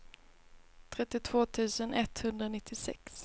trettiotvå tusen etthundranittiosex